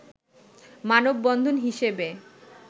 মানববন্ধন হিসেবে